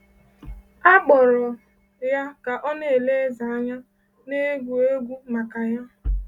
A kpọrọ ya ka ọ na-ele eze anya, na-egwu egwu maka ya.